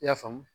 I y'a faamu